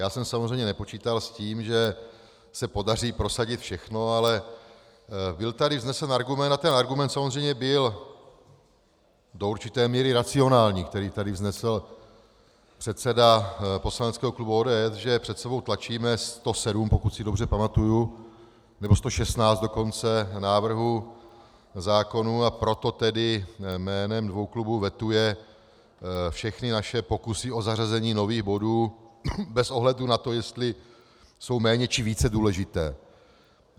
Já jsem samozřejmě nepočítal s tím, že se podaří prosadit všechno, ale byl tady vznesen argument a ten argument samozřejmě byl do určité míry racionální, který tady vznesl předseda poslaneckého klubu ODS, že před sebou tlačíme 107, pokud si dobře pamatuji, nebo 116 dokonce návrhů zákonů, a proto tedy jménem dvou klubů vetuje všechny naše pokusy o zařazení nových bodů bez ohledu na to, jestli jsou méně, či více důležité.